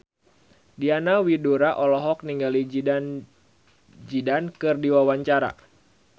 Diana Widoera olohok ningali Zidane Zidane keur diwawancara